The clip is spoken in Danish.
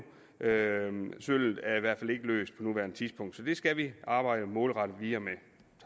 nanosølvet er i hvert fald ikke løst på nuværende tidspunkt så det skal vi arbejde målrettet videre med